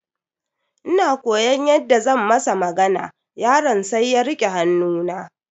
Ina koyaon yadda zan masa magana, yaron sai ya rike hannu na.